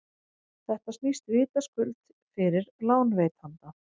þetta snýst vitaskuld við fyrir lánveitanda